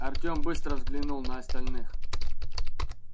артём быстро взглянул на остальных